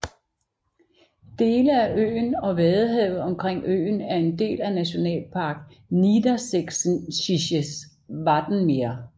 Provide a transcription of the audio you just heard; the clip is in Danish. Dele af øen og vadehavet omkring øen er en del af Nationalpark Niedersächsisches Wattenmeer